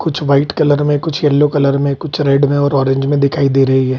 कुछ white colour मे कुछ येलो कलर मे कुछ रेड मे और कुछ ऑरेंज मे दिखाई दे रही हैं।